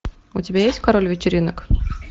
у тебя есть король вечеринок